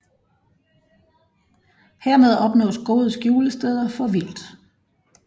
Hermed opnås gode skjulesteder for vildt